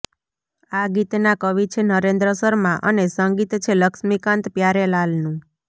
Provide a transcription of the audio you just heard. આ ગીતના કવિ છે નરેન્દ્ર શર્મા અને સંગીત છે લક્ષ્મીકાંત પ્યારેલાલનું